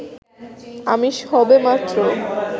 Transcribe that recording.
আমি সবেমাত্র